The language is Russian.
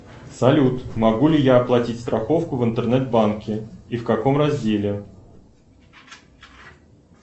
салют могу ли я оплатить страховку в интернет банке и в каком разделе